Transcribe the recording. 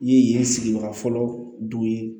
I ye yen sigibaga fɔlɔ du ye